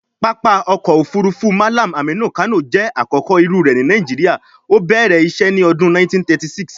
Pápá ọkọ̀ òfurufú Mallam Aminu Kano jẹ́ àkọ́kọ́ irú rẹ̀ ní Nigeria, ó bẹ̀rẹ̀ isé ní ọdún 1936.